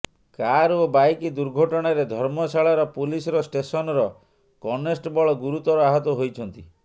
car ଓ bike ଦୁର୍ଘଟଣାରେ ଧର୍ମଶାଳାର ପୁଲିସର ଷ୍ଟେସନର କନେଷ୍ଟବଳ ଗୁରୁତର ଆହତ ହୋଇଛନ୍ତି